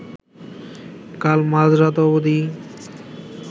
কাল মাঝরাত অবধি